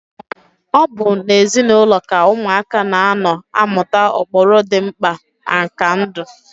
Ọ bụ n'ezinaụlọ ka ụmụaka na-anọ amụta ụkpụrụ dị mkpa na nka ndụ.